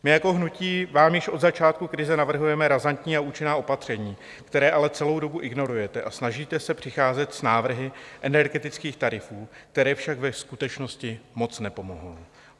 My jako hnutí vám již od začátku krize navrhujeme razantní a účinná opatření, která ale celou dobu ignorujete, a snažíte se přicházet s návrhy energetických tarifů, které však ve skutečnosti moc nepomohou.